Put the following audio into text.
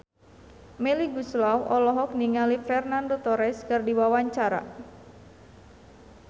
Melly Goeslaw olohok ningali Fernando Torres keur diwawancara